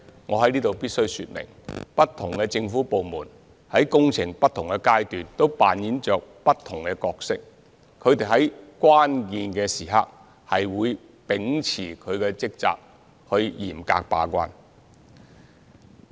我在此必須說明，不同政府部門在工程的不同階段都擔當着不同角色，它們在關鍵時刻會秉持職責，嚴格把關。